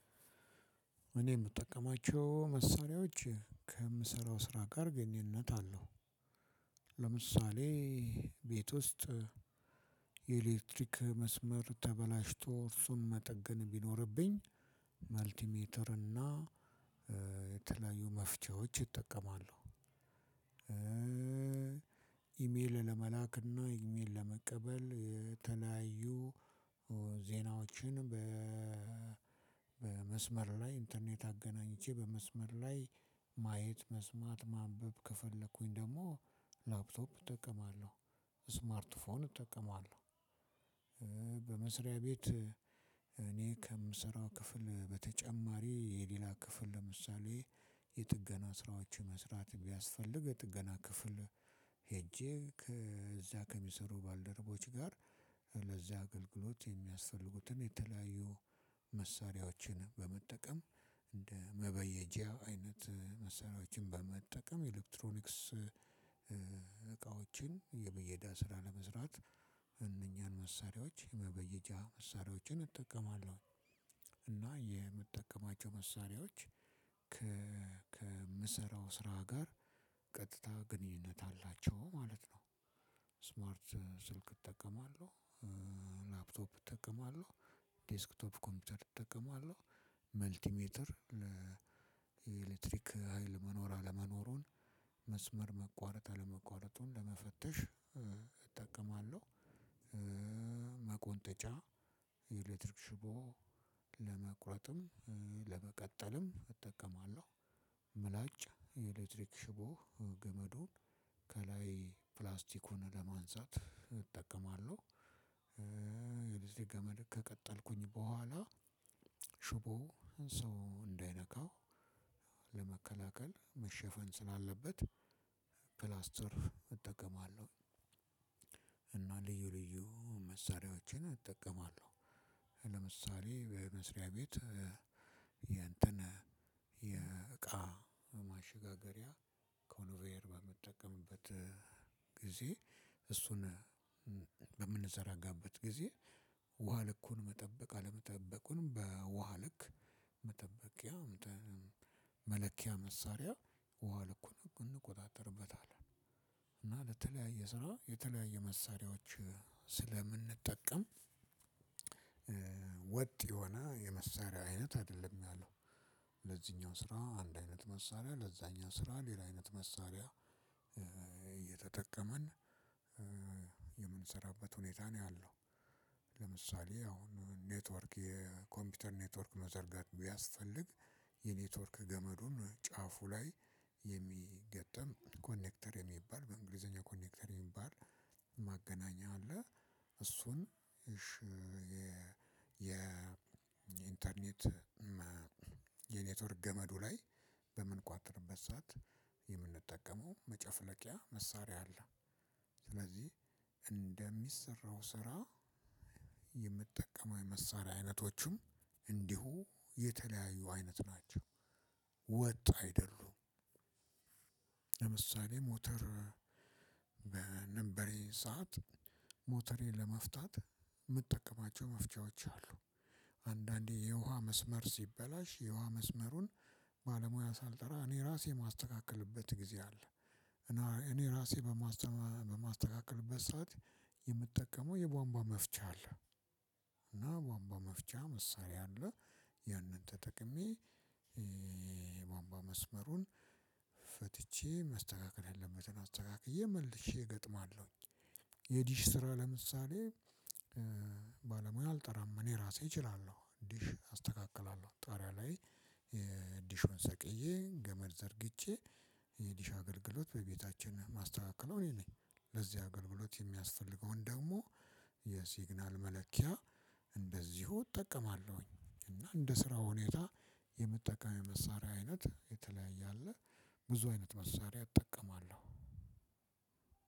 እኔ እምጠቀማቸው መሳሪያወች ከምሰራው ስራ ጋር ግንኙነት አለው። ለምሳሌ ቤት ውስጥ የኤሌክትሪክ መስመር ተበላሽቶ እርሱን መጠገን ቢኖርብኝ መልቲሜትር እና የተለያዩ መፍቻዎች እጠቀማለሁ። ኢሜል ለመላክና ኢሜል ለመቀበል ተለያዩ ዜናዎችን። በመስመር ላይ ኢንተርኔት አገናኝቼ በመስመር ላይ ማየት መስማት ማንበብ ከፈለኩኝ ደግሞ ላፕቶፕ እጠቀማለሁ ስማርት ፎን እጠቀማለሁ። በመስሪያ ቤት እኔ ከምሰራው ክፍል በተጨማሪ የሌላ ክፍል ለምሳሌ የጥገና ስራዎችን መስራት ቢያስፈልግ የጥገና ክፍል። ሄጄ ከዛ ከሚሰሩ ባልደረቦች ጋር ለዚያ አገልግሎት የሚያስፈልጉትን የተለያዩ መሳሪያዎችን በመጠቀም እንደ መበየጃ አይነት መሳሪያወችን በመጠቀም ኤሌክትሮኒክስ እቃወችን የብየዳ ስራ ለመስራት እነኛን መሳሪያዎች የመበየጃ መሳሪያዎችን እጠቀማለሁ። እና የምጠቀማቸው መሳሪያዎች ከምሰራው ስራ ጋር ቀጥታ ግንኙነት አላቸው ማለት ነው። ስማርት ስልክ እጠቀማለሁ። ላፕቶፕ እጠቀማለሁ ዴስክቶፕ ኮምፒውተር እጠቀማለሁ። መልቲሜትር ለኤሌክትሪክ ሀይል መኖር አለመኖሩን መስመር መቋረጥ አለመቋረጡን ለመፈተሽ እጠቀማለሁ። መቆንጠጫ የኤሌክትሪክ ሽቦ ለመቁረጥም ለመቀጠልም እጠቀማለሁ። ምላጭ የኤሌክትሪክ ሽቦ ገመዱን ከላይ ፕላስቲኩን ለማንሳት እጠቀማለሁ። የዚህ ገመድ ከቀጠልኩኝ በኋላ ሽቦው ሰው እንዳይነካው ለመከላከል መሸፈን ስላለበት ክላስ ትርፍ እጠቀማለሁ። እና ልዩ ልዩ መሳሪያዎችን እጠቀማለሁ። ለምሳሌ በመስሪያ ቤት የእንትን የእቃ ማሽጋገሪያ ኮንቬር በምጠቀምበት ጊዜ እሱን ጊዜ ውሃ ልኩን መጠበቅ አለመጠበቁን በውሃ ልክ መጠበቂያ መለኪያ መሳሪያ ውሃ ልኩን እንቆጣጠርበታለን። እና ለተለያየ ስራ የተለያየ መሳሪያዎችን ስለምንጠቀም ወጥ የሆነ የመሳሪያ አይነት አይደለም ያለው። ለዚኛው ስራ አንድ አይነት መሳሪያ ለዛኛው ስራ ሌላ አይነት መሳሪያ እየተጠቀምን የምንሰራበት ሁኔታ ነው ያለው። ለምሳሌ አሁን ኔትወርክ የኮምፒውተር ኔትወርክ መዘርጋት ቢያስፈልግ የኔትወርክ ገመዱን ጫፉ ላይ የሚገጠም ኮኔክተር የሚባል በእንግሊዘኛ ኮኔክተር የሚባል ማገናኛ አለ። እሱን የኢንተርኔት የኔትወርክ ገመዱ ላይ በምንቋጥረበት ሰዓት የምንጠቀመው መጨፍለቂያ መሳሪያ አለ። ስለዚህ እንደሚሰራው ስራ የምጠቀመው የመሳሪያ አይነቶችም እንዲሁ የተለያዩ አይነት ናቸው ወጥ አይደሉም። ለምሳሌ ሞተር በነበረኝ ሰዓት ሞተሬን ለመፍታት የምጠቀማቸው መፍቻዎች አሉ አንዳንዴ የውሃ መስመር ሲበላሽ የውሃ መስመሩን ባለሙያ ሳልጠራ እኔ ራሴ የማስተካክልበት ጊዜ አለ። እኔ እራሴ በማስተካክልበት ሰዓት የምጠቀመው የቧንቧ መፍቻ አለ። እና ቧንቧ መፍቻ መሳሪያ አለ ያንን ተጠቅሜ የቧንቧ መስመሩን ፈትቼ መስተካከል ያለበትን አስተካክዬ መልሼ እገጥማለሁኝ። የዲሽ ስራ ለምሳሌ ባለሙያ አልጠራም እኔ ራሴ እችላለሁ ዲሽ አስተካክላለሁ ጣሪያ ላይ ዲሹን ሰቅየ ገመድ ዘርግቼ የዲሽ አገልግሎት በቤታችን የማስተካክለው እኔ ነኝ። ለዚህ አገልግሎት የሚያስፈልገውን ደግሞ የሲግናል መለኪያ እንደዚሁ እጠቀማለሁኝ እና እንደ ስራው ሁኔታ የምጠቀመው የመሳሪያ አይነት የተለያየ አለ። ብዙ አይነት መሳሪያ እጠቀማለሁ።